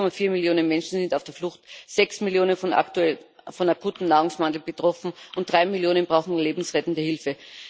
1,4 Millionen Menschen sind auf der Flucht, 6 Millionen von akutem Nahrungsmangel betroffen, und 3 Millionen brauchen lebensrettende Hilfe.